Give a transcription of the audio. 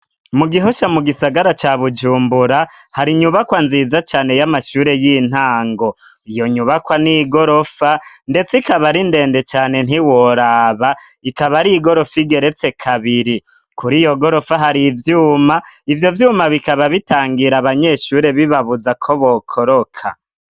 Mu Gihosha mu gisagara ca Bujumbura hari inyubakwa nziza cane y'amashure y'intango, iyo nyubakwa n'igorofa ndetse ikaba ari ndende cane ntiworaba ikaba ari igorofa igeretse kabiri, kuri iyo gorofa hari ivyuma, ivyo vyuma bikaba bitangira abanyeshure bibabuza ko bokoroka.